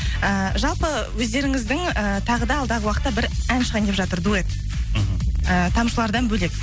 ііі жалпы өздеріңіздің і тағы да алдағы уақытта бір ән шығайын деп жатыр дуэт мхм і тамшылардан бөлек